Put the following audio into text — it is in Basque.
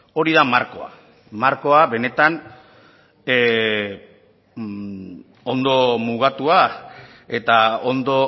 hori da markoa markoa benetan ondo mugatua eta ondo